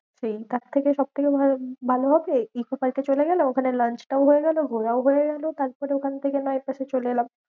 সেই তারথেকে সবথেকে ভালো ভালো হবে ইকো পার্কে চলে গেলে, ওখানে lunch টাও হয়ে গেলো, ঘোরাও হয়ে গেলো। তারপরে ওখান থেকে নয় এপাশে চলে এলাম।